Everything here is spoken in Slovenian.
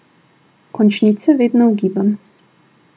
Končnice vedno ugibam.